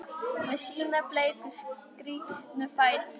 Með sína bleiku, skrítnu fætur?